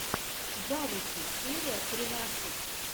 завучи серия тринадцать